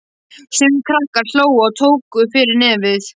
Sumir krakkar hlógu og tóku fyrir nefið.